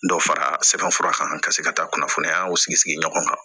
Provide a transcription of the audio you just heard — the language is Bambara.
Dɔ fara sɛbɛn fura kan ka se ka taa kunnafoniyaw sigi sigi ɲɔgɔn kan